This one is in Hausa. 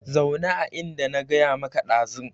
Zauna a inda na gaya maka dazu